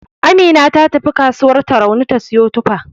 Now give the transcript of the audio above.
Amina ta tafi kasuwar Tarauni ta siyo tufa.